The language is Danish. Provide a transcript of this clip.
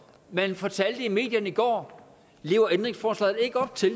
man fortalte om i medierne i går lever ændringsforslaget ikke op til